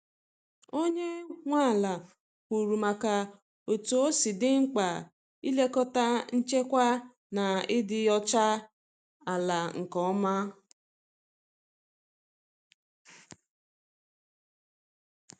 Onye nwe ala kwuru maka otú osi di mkpa ị lekọta nchekwa na ịdị ọcha ala nke ọma.